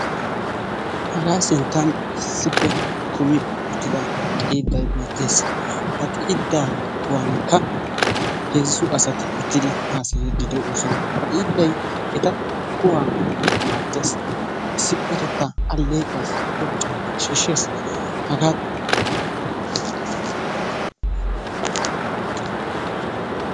Hagaa sinttan issippe kummi uttidaa xiiday beettees. Ha xiiddaa kuwankka heezzu asati uttidi haasayiidi de'oosona. Ha xiidday eta kuwaa maaddees, issippe eta aleeqquwassi cora carkkuwa shiishshees.